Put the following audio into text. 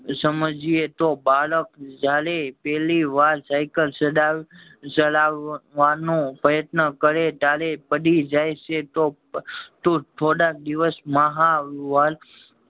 સમજયીએ તો બાળક જયારે પેલી વાર સાયકલ ચાલવાનો પ્રયત્ન કરે ત્યારે પડી જાય છે તો થોડા દિવસ મહા